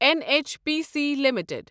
N H P C limited